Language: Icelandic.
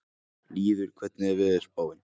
Lýður, hvernig er veðurspáin?